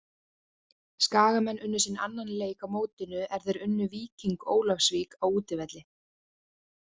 Skagamenn unnu sinn annan leik á mótinu er þeir unnu Víking Ólafsvík á útivelli.